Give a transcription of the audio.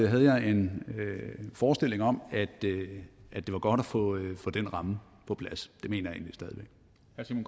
havde jeg en forestilling om at det var godt at få den ramme på plads